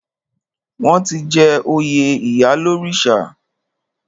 Wọ́n ti jẹ oyè ìyálórìṣà.